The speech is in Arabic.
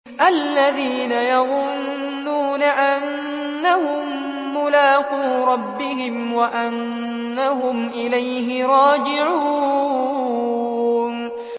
الَّذِينَ يَظُنُّونَ أَنَّهُم مُّلَاقُو رَبِّهِمْ وَأَنَّهُمْ إِلَيْهِ رَاجِعُونَ